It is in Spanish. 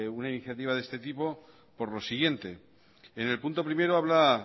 una iniciativa de este tipo por lo siguiente en el punto primero habla